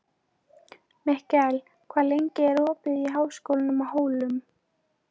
Mikkel, hvað er lengi opið í Háskólanum á Hólum?